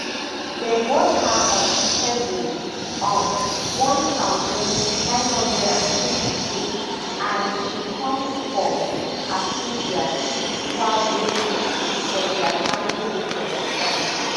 dem born her on february um one thousand, nine hundred and fifty-two and she come from afigya kwabre district for di ashanti region of ghana